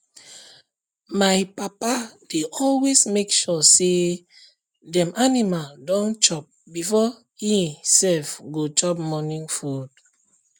my papa dey always make sure say dem animal don chop before he sef go chop morning food